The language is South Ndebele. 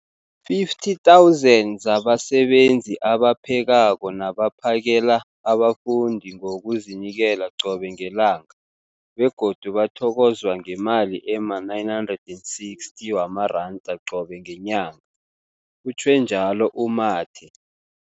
50 000 zabasebenzi abaphekako nabaphakela abafundi ngokuzinikela qobe ngelanga, begodu bathokozwa ngemali ema-960 wamaranda qobe ngenyanga, utjhwe njalo u-Mathe.